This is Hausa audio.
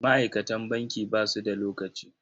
Ma'aikatan banki ba su da lokaci.